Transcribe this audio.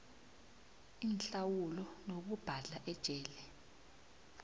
inhlawulo nokubhadla ejele